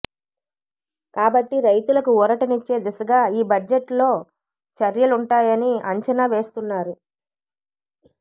కాబట్టి రైతులకు ఊరటనిచ్చే దిశగా ఈ బడ్జెట్లో చర్యలుంటాయని అంచనా వేస్తున్నారు